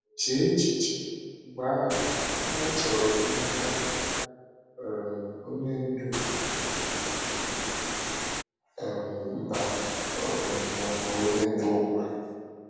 Chee echiche, mgbe ahụ, ihe a chọrọ n’aka um onye ndu um mba um ma ọ bụ onye ndu ụwa!